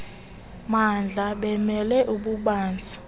maatla bemele ububanzi